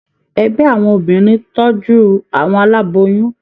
Ẹgbẹ àwọn obìnrin tọjú àwọn aláboyún.